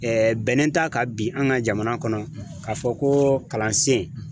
Ɛɛ bɛnen t'a kan bi an ga jamana kɔnɔ k'a fɔ ko kalansen